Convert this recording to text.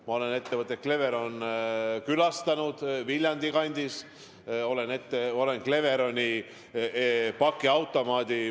Ma olen Cleveroni Viljandi kandis külastanud, tean Cleveroni pakiautomaate.